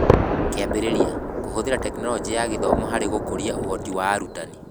Kĩambĩrĩria: Kũhũthĩra Teknoroji ya Gĩthomo harĩ gũkũria ũhoti wa arutani